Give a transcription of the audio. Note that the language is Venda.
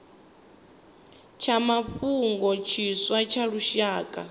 tsha mafhungo tshiswa tsha lushaka